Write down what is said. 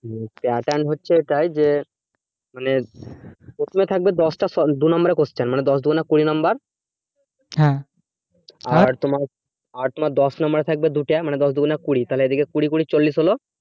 হম pattern হচ্ছে এটাই যে মানে প্রথমে থাকবে দশটা দু number এর question মানে দশ দু গুণে কুড়ি number আর তোমার আট না দশ number এর থাকবে দুটা মানে দশ দু গুণে কুড়ি, তাহলে এদিকে কুড়ি কুড়ি চল্লিশ হলো